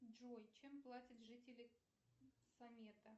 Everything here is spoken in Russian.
джой чем платят жители самета